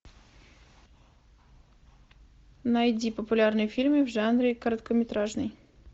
найди популярные фильмы в жанре короткометражный